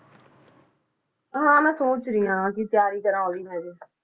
ਹਾਂ ਮੈਂ ਸੋਚ ਰਹੀ ਹਾਂ ਕਿ ਤਿਆਰੀ ਕਰਾਂ ਉਹਦੀ ਮੈਂ ਹਜੇ।